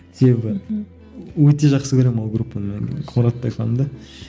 себебі мхм өте жақсы көремін ол группаны қоңыратбай фанын да